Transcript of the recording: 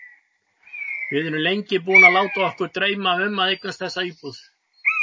Við erum lengi búin að láta okkur dreyma um að eignast þessa íbúð.